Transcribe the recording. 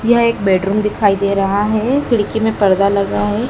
यह एक बेडरूम दिखाई दे रहा है खिड़की में पर्दा लगा है।